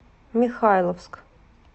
михайловск